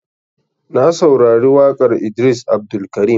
Na saurari waƙar Idris Abdulkarim.